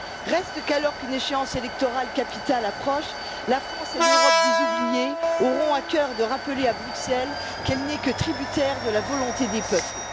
Reste qu'alors qu'une échéance électorale capitale approche, la France et l'Europe des oubliés auront à cœur de rappeler à Bruxelles qu'elle n'est que tributaire de la volonté des peuples.